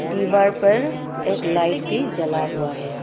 दीवार पर एक लाइट भी जला हुआ है।